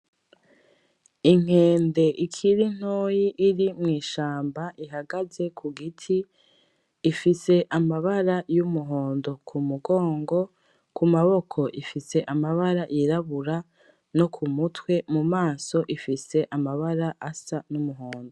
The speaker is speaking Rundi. Inkende ikiri ntoyi iri mw'ishamba ihagaze ku giti, ifise amabara y'umuhondo k'umugongo, ku maboko ifise amabara yirabura no ku mutwe, mu maso ifise amabara asa n'umuhondo.